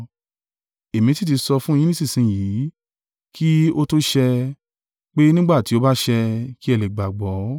Èmi sì ti sọ fún yín nísinsin yìí kí ó tó ṣẹ, pé nígbà tí ó bá ṣẹ, kí ẹ lè gbàgbọ́.